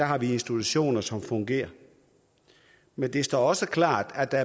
har vi institutioner som fungerer men det står også klart at der